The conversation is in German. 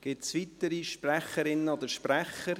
Gibt es weitere Sprecherinnen oder Sprecher?